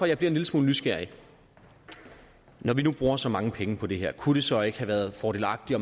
jeg bliver en lille smule nysgerrig når vi nu bruger så mange penge på det her kunne det så ikke have været fordelagtigt